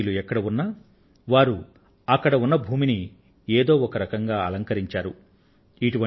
మన భారతీయులు ఎక్కడ ఉన్నా వారు అక్కడ ఉన్న భూమిని ఏదో ఒకరకంగా అలంకరించారు